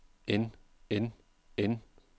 end end end